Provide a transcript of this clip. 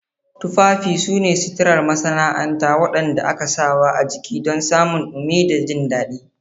Tufafi su ne suturar masana'anta waɗanda aka sawa a jiki don samun dumi da jin daɗi.